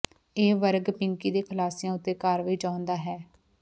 ਇਹ ਵਰਗ ਪਿੰਕੀ ਦੇ ਖੁਲਾਸਿਆਂ ਉੱਤੇ ਕਾਰਵਾਈ ਚਾਹੁੰਦਾ ਹੈ